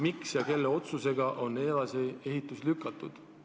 Miks ja kelle otsusega on ehitus edasi lükatud?